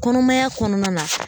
Kɔnɔmaya kɔnɔna la